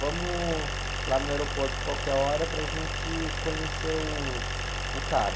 Vamos lá no aeroporto qualquer hora para gente conhecer uh, o cara.